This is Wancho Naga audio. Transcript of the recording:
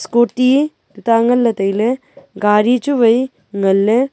koti tuta ngan le taile gari chu wai ngan le.